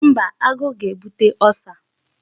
Mba, agụụ ga-ebute Ulcer.